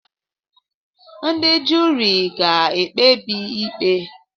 Ndị juri ga-ekpebi ikpe.